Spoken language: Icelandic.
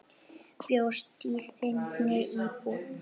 Bjóst í þinni íbúð.